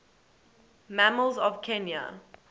mammals of kenya